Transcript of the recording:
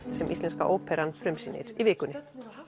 sem Íslenska óperan frumsýnir í vikunni